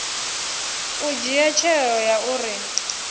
u dzhia tsheo ya uri